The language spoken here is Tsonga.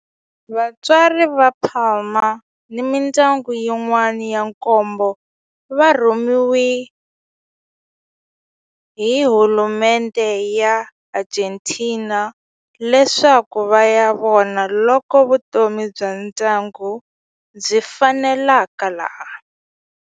Vatswari va Palma ni mindyangu yin'wana ya nkombo va rhumeriwe hi hulumendhe ya le Argentina leswaku va ya vona loko vutomi bya ndyangu byi faneleka laha.